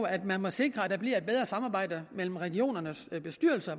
at man må sikre at der bliver et bedre samarbejde mellem regionernes bestyrelser